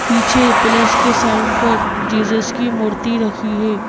पीछे प्लस के साइन पर जीजस की मूर्ति रखी है।